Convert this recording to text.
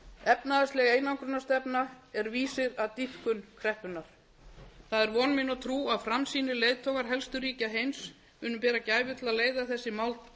efnahagsleg einangrunarstefna er vísir að dýpkun kreppunnar það er von mín og trú að framsýnir leiðtogar helstu ríkja heims muni bera gæfu til að leiða þessi